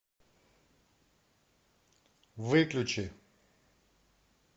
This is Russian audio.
выключи